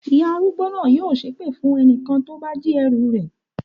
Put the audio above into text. Ìyá arúgbó náà yóò ṣépè fún ẹnikẹ́ni tó bá jí èédú rẹ̀.